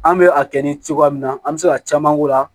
An bɛ a kɛ ni cogoya min na an bɛ se ka caman k'o la